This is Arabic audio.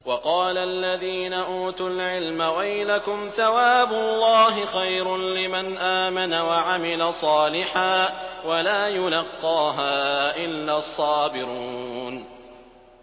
وَقَالَ الَّذِينَ أُوتُوا الْعِلْمَ وَيْلَكُمْ ثَوَابُ اللَّهِ خَيْرٌ لِّمَنْ آمَنَ وَعَمِلَ صَالِحًا وَلَا يُلَقَّاهَا إِلَّا الصَّابِرُونَ